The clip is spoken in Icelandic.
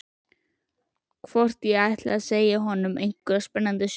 Hvort ég ætli að segja honum einhverja spennandi sögu.